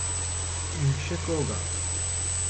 In še koga.